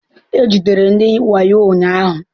E jidere ndị wayo ụnyahụ.